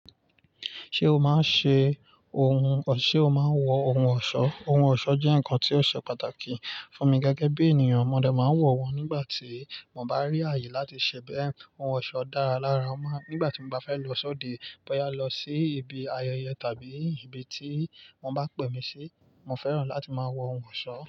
Ṣé o máa ń ṣe ohun, ṣe o máa ń wọ ohun ọ̀ṣọ́? Ohun ọ̀ṣọ́ jẹ́ nǹkan tí ó ṣe pàtàkì fún mi gẹ́gẹ́ bí ènìyàn. Mọdé máa ń wọ̀ wọ́n nígbà tí mo bá rí ààyè láti ṣe bẹ́ẹ̀. Ohun ọ̀ṣọ́ dára lára ọmọ, nígbà tí mo bá fẹ́ lọ sọ́de, bóyá lọ sí ibi ayẹyẹ tàbí ibi tí wọ́n bá pè mí sí, mo fẹ́ràn láti máa wọ ohun ọ̀ṣọ́.